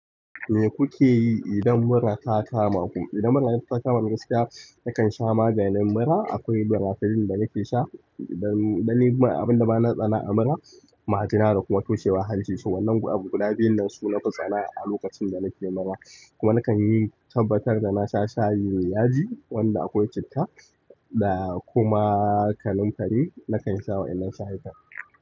Me kuke yi idan mura ta kama ku? Idan mura ta kama ni gaskiya, na kan sha maganin mura. Akwai birafilin da nake sha don abin da na tsana a mura, magina da kuma tushewar hanci. To wannan abu guda biyun nan su na fi tsana a lokacin da nake mura. Kuma na kan yi tabbatar da na sha shayin yaji wanda akwai citta da kuma kanumfari na kan sha wa'innan shayikan.